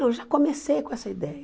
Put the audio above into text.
Não, eu já comecei com essa ideia.